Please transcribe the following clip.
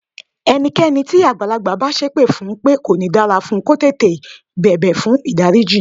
Ẹni tí àgbàlagbà bá sépè fún pé kò ní dára fún, kó yáá tètè bẹ̀bẹ̀ fùn ìdáríjì.